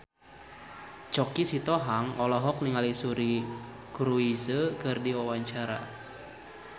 Choky Sitohang olohok ningali Suri Cruise keur diwawancara